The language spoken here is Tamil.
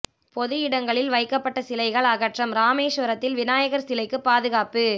பொது இடங்களில் வைக்கப்பட்ட சிலைகள் அகற்றம் ராமேஸ்வரத்தில் விநாயகர் சிலைகளுக்கு பாதுகாப்பு